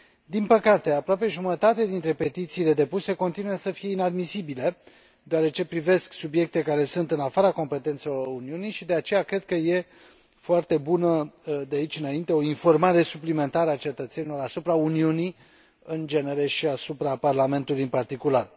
Din păcate, aproape jumătate dintre petițiile depuse continuă să fie inadmisibile, deoarece privesc subiecte care sunt în afara competențelor Uniunii și, de aceea, cred că este foarte bună, de aici înainte, o informare suplimentară a cetățenilor asupra Uniunii, în general, și asupra Parlamentului, în particular.